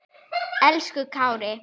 Elsku Kári.